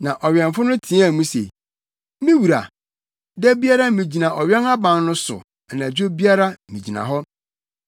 Na ɔwɛmfo no teɛɛ mu se, “Me wura, da biara migyina ɔwɛn aban no so Anadwo biara, migyina hɔ.